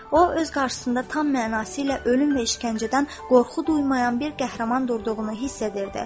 O öz qarşısında tam mənası ilə ölüm və işgəncədən qorxu duymayan bir qəhrəman durduğunu hiss edirdi.